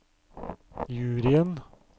juryen